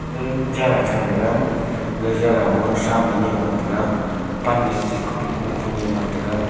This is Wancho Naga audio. e jagah charang taga gaga mohsa miniam ngan taga pan e tika bapoh koh huniam ngan taga.